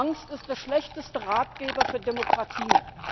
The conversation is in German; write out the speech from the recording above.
Angst ist der schlechteste Ratgeber für Demokratien.